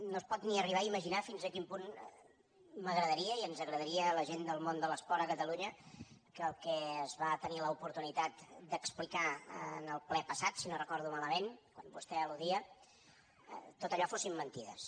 no es pot ni arribar imaginar fins a quin punt m’agradaria i ens agradaria a la gent del món de l’esport a catalunya que el que es va tenir l’oportunitat d’explicar en el ple passat si no ho recordo malament al qual vostè almentides